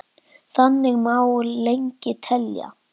Þannig má lengi telja.